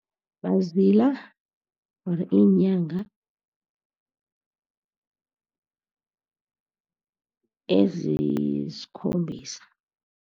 Bazila iinyanga ezisikhombisa.